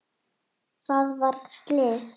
Það varð slys.